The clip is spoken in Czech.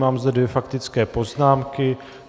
Mám zde dvě faktické poznámky.